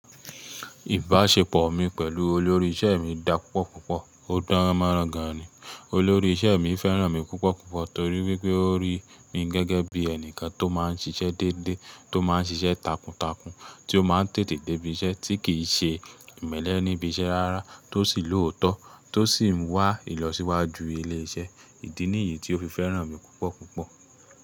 Ìbáṣepọ̀ mi pẹ̀lú olórí iṣẹ́ mi dá púpọ̀ púpọ̀, ó dán mọ́rán gan ni. Olórí iṣẹ́ mi fẹ́ràn mi púpọ̀ púpọ̀ torí wípé ó rí mi gẹ́gẹ́ bí ẹni kan tó máa ń ṣiṣẹ́ dédé, tó máa ń ṣiṣẹ́ takuntakun, tí ó máa ń tètè dé ibi iṣẹ́, tí kì í ṣe ìmẹ́lẹ́ níbi iṣẹ́ rárá, tó sì lòótọ́, tó sì ń wá ìlọsíwájú ilé iṣẹ́. Idi nìyí tí ó fi fẹ́ràn mi púpọ̀ púpọ̀.